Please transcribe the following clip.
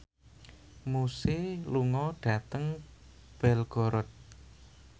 Muse lunga dhateng Belgorod